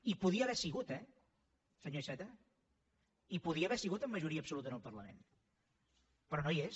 hi podia haver sigut eh senyor iceta hi podia haver sigut amb majoria absoluta en el parlament però no hi és